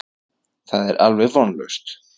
Það er alveg vonlaust.